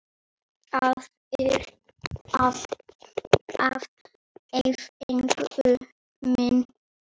Aðrir fengu minna.